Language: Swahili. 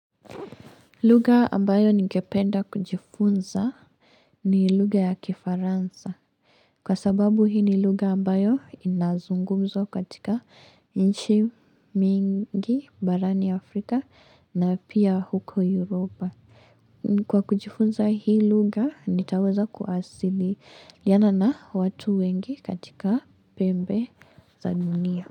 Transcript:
Lugha ambayo ningependa kujifunza ni lugha ya Kifaransa. Kwa sababu hii lugha ambayo inazungumzwa katika nchi mingi barani Afrika na pia huko Europa. Kwa kujifunza hii lugha, nitaweza kuasili liana na watu wengi katika pembe za dunia.